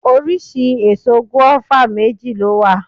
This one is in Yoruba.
Oríṣi èso gùáfà méjì ló wà